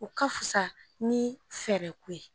O ka fisa ni fɛɛrɛko ye